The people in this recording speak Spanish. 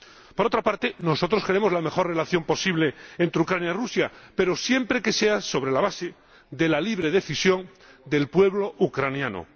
Por otra parte, nosotros queremos la mejor relación posible entre Ucrania y Rusia, pero siempre que sea sobre la base de la libre decisión del pueblo ucraniano.